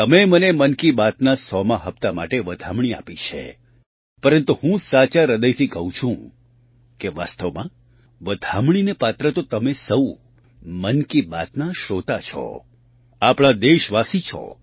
તમે મને મન કી બાતના સોમા હપ્તા માટે વધામણી આપી છે પરંતુ હું સાચા હૃદયથી કહું છું કે વાસ્તવમાં વધામણીને પાત્ર તો તમે સહુ મન કી બાતના શ્રોતા છો આપણા દેશવાસી છો